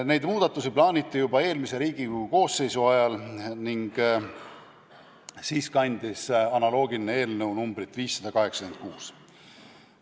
Neid muudatusi plaaniti juba eelmise Riigikogu koosseisu ajal ning siis kandis analoogiline eelnõu numbrit 586.